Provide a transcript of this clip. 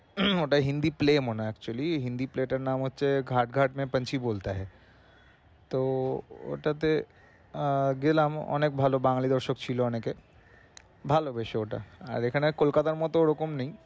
একটা Hindi play actually Hindi play টার নাম হচ্ছে ঘাট ঘাট মে পাঞ্ছি বোলতা হে। তো ওটাতে আহ গেলাম অনেক ভালো বাঙালি দর্শক ছিলো অনেকে। ভালো বেশ ওটা আর এখানে কোলকাতার মতো ওরকম নেই